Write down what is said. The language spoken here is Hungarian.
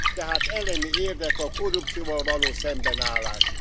Tehát elemi érdek a korrupcióval való szembenállás.